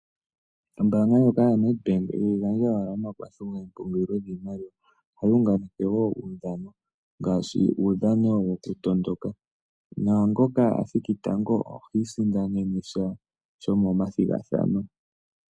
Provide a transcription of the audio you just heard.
Ombaanga yoNedbank ihayi gandja owala omakwatho gokupungula oshimaliwa. Ohayi unganeke wo omaudhano ngaashi uudhano wokutondoka naangoka a thiki tango oha sindana sha shomomasindano.